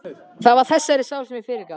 Það var þessari sál sem ég fyrirgaf.